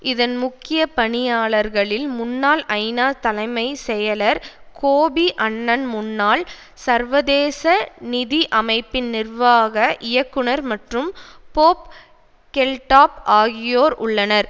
இதன் முக்கிய பணியாளர்களில் முன்னாள் ஐநா தலைமை செயலர் கோபி அன்னான் முன்னாள் சர்வதேச நிதி அமைப்பின் நிர்வாக இயக்குனர் மற்றும் பொப் கெல்டாப் ஆகியோர் உள்ளனர்